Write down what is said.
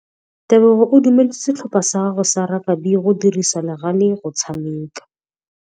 Tebogô o dumeletse setlhopha sa gagwe sa rakabi go dirisa le galê go tshameka.